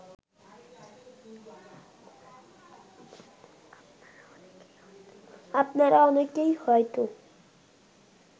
আপনারা অনেকেই হয়ত